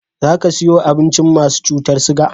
Za ka siyo abincin masu cutar siga?